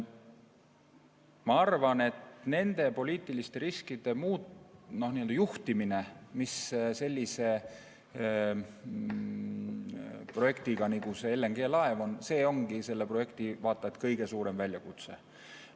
Ma arvan, et nende poliitiliste riskide juhtimine, mis sellise projektiga nagu see LNG-laev on, kaasneb, ongi selle projekti vaata et kõige suurem väljakutse.